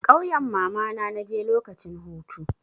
Ƙauyan mamana na je lokacin hutu.